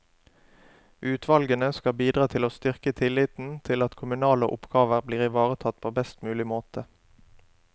Utvalgene skal bidra til å styrke tilliten til at kommunale oppgaver blitt ivaretatt på best mulig måte.